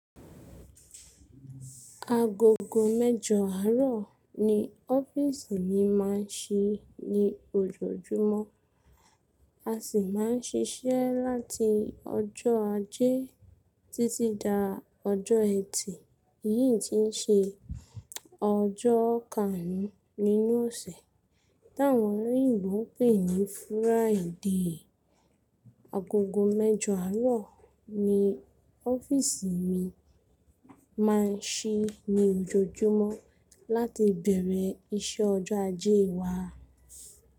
Agogo mẹ́jọ àárọ̀ ni ọ́fíìsì mi máa ń ṣí ní ojoojúmọ́. A sì máa ń ṣiṣẹ́ láti ọjọ́ ajé títí dá ọjọ́ ẹtì. Èyí tí ń ṣe ọjọ́ kárú nínú ọ̀sẹ̀, táwọn olóyìnbo ń pè ní Friday. Agogo mẹ́jọ àárọ̀ ni ọ́fíìsì mi máa ń ṣí ní ojoojúmọ́ láti bẹ̀rẹ̀ iṣẹ́ ọjọ́ ajé wa.